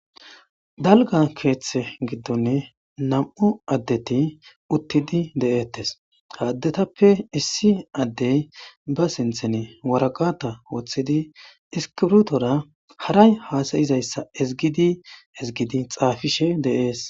Dalga keeththe giddonne nam7u addeti uttidi de7eettes haaddetappe issi addey ba sinthene waragata woththidi iskirutora haray haasayizayssa ezgidi ezgidi xaafishe deees.